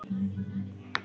Kryddað með salti.